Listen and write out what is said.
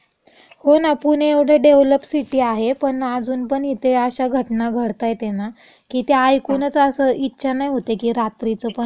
हो ना. पुणे एवढे डेव्हलप सिटी आहे पण अजुनपण इथे अशा घटना घडतायेत ना की त्या ऐकुनच असं इच्छा नाही होत की रात्रीचं पण जॉब करावं.